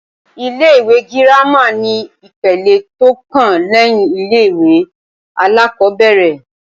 Ilé-ìwé girama ni ipele tó kàn lẹ́yìn ilé-ìwé alákọ́bẹ̀rẹ̀